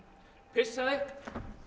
pissaði